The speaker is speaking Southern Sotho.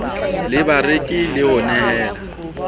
le bareki le ho nehela